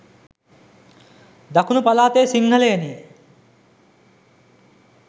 දකුණු පළාතේ සිංහලයනි